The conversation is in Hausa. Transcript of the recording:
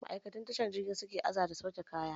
Ma'aikatun tashar jirgin suke aza da sauke kaya